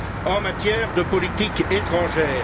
en matière de politique étrangère.